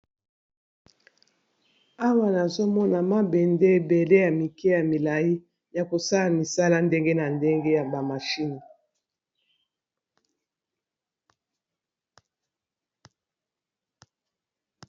awa nazomona mabende ebele ya mike ya milai ya kosala misala ndenge na ndenge ya bamashine